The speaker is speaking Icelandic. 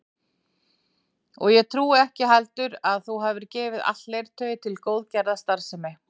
Og ég trúi ekki heldur að þú hafir gefið allt leirtauið til góðgerðarstarfsemi